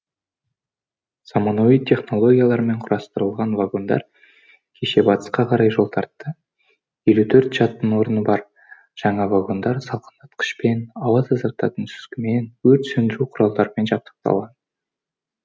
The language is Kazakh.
заманауи технологиямен құрастырылған вагондар кеше батысқа қарай жол тартты елу төрт жатын орны бар жаңа вагондар салқындатқышпен ауа тазартатын сүзгімен өрт сөндіру құралдарымен жабдықталған